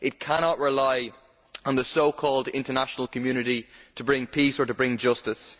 It cannot rely on the so called international community to bring peace or to bring justice.